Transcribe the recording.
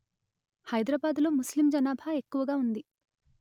హైదరాబాదు లో ముస్లిం జనాభా ఎక్కువగా ఉంది